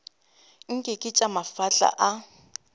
nke ke tša mafahla a